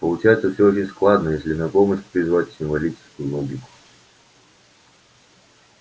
получается все очень складно если на помощь призвать символическую логику